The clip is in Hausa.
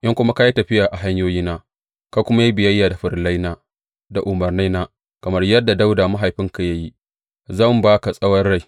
In kuma ka yi tafiya a hanyoyina, ka kuma yi biyayya da farillaina da umarnaina kamar yadda Dawuda mahaifinka ya yi, zan ba ka tsawon rai.